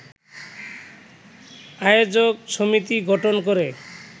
আয়োজক সমিতি গঠন করে